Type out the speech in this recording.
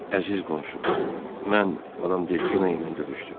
Əziz qonşum, mən Madam Delfina ilə görüşdüm.